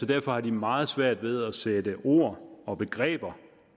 derfor har de meget svært ved at sætte ord og begreber